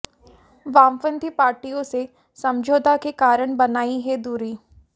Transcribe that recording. वामपंथी पार्टियों से समझौता के कारण बनाई है दूरी